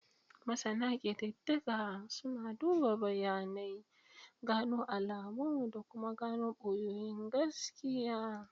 Masana kididdiga suna duba bayanai, gano alamu da kuma gano boyayyun gaskiya.